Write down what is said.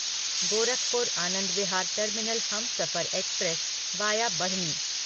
Gorakhpur Anand Vihar terminal Humsafar express via Barhni